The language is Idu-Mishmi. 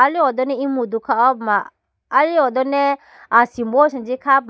ali hodone imudo khapuma ali hone asimbo asenji khapuma.